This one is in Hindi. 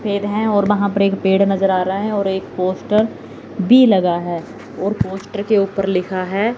पेड़ हैं और वहां पर एक पेड़ नजर आ रहे हैं और एक पोस्टर भी लगा है और पोस्ट के ऊपर लिखा है।